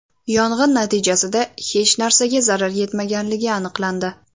Yong‘in natijasida hech narsaga zarar yetmaganligi aniqlandi.